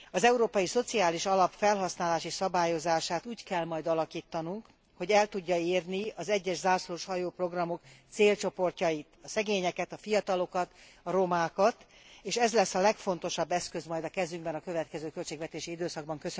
Az Európai Szociális Alap felhasználási szabályozását úgy kell majd alakítanunk, hogy el tudja érni az egyes zászlóshajóprogramok célcsoportjait a szegényeket, a fiatalokat, a romákat, és ez lesz a legfontosabb eszköz majd a kezükben a következő költségvetési időszakban.